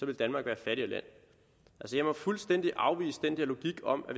land jeg må fuldstændig afvise den der logik om at